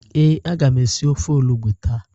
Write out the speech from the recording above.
Ee, a ga m esi ofe olugbu taa.